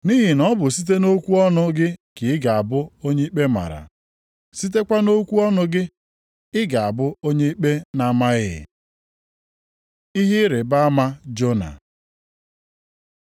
Nʼihi na ọ bụ site nʼokwu ọnụ gị ka ị ga-abụ onye ikpe mara, sitekwa nʼokwu ọnụ gị ka ị ga-abụ onye ikpe na-amaghị.” Ihe ịrịbama Jona